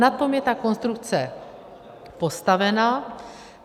Na tom je ta konstrukce postavena.